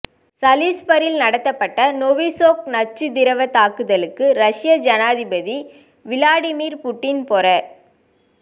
சலிஸ்பரியில் நடத்தப்பட்ட நொவிசொக் நச்சுத் திரவத் தாக்குதலுக்கு ரஷ்ய ஜனாதிபதி விளாடிமிர் புட்டின் பொற